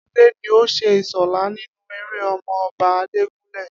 Adé ni ó s̩e Ìs̩ò̩lá nínú eré O̩mo̩-o̩ba Ajégúnlè̩